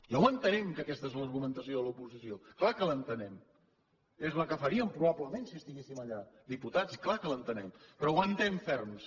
ja ho entenem que aquesta és l’argumentació de l’oposició clar que l’entenem és la que faríem probablement si estiguéssim allà diputat clar que l’entenem però aguantem ferms